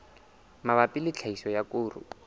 mabapi le tlhahiso ya koro